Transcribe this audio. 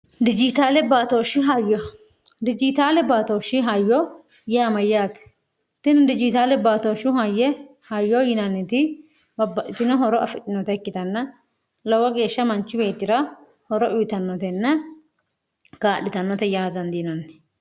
dijitaale baatooshshi hayyo yaamayyaati tini dijiitaale baatooshshu hayye hayyo yinanniti babbadhitino horo afinota ikkitanna lowo geeshsha manchi weetira horo uyitannotenna gaadhitannote yaa dandiinanni